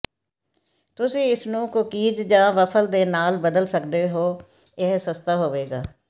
ਤੁਸੀਂ ਇਸ ਨੂੰ ਕੂਕੀਜ਼ ਜਾਂ ਵਫ਼ਲ ਦੇ ਨਾਲ ਬਦਲ ਸਕਦੇ ਹੋ ਇਹ ਸਸਤਾ ਹੋਵੇਗਾ